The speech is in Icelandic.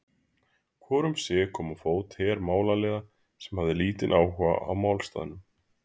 Hvor um sig kom á fót her málaliða, sem hafði lítinn áhuga á málstaðnum.